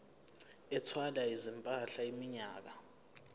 ethwala izimpahla iminyaka